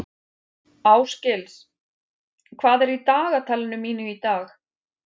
Ásgils, hvað er í dagatalinu mínu í dag?